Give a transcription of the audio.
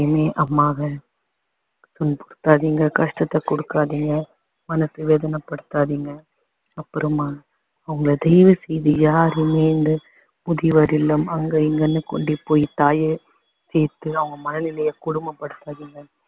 அம்மாக்கு கஷ்டத்தை கொடுக்காதீங்க மனசு வேதனை படுத்தாதீங்க அப்புறமா அவங்கள தயவு செய்து யாருமே இந்த முதியோர் இல்லம் அங்க இங்கன்னு கூட்டிட்டு போய் தாய சேர்த்து அவங்க மனநிலைய கொடுமை படுத்தாதீங்க